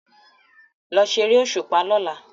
Lọ ṣeré òṣùpá lọla!